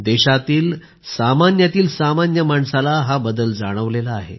देशातील सामान्यातील सामान्य माणसाला हा बदल जाणवला आहे